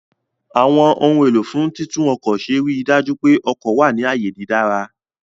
Àwọn ohun èlò fún títún ọkọ̀ ṣe ríi dájú pé ọkọ̀ wà ní ààyè dídára